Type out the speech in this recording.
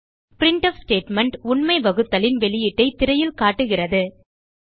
printf statement உண்மை வகுத்தலின் வெளியீட்டைத் திரையில் காட்டுகிறது